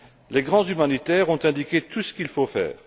Les grands humanitaires ont indiqué tout ce qu'il faut faire.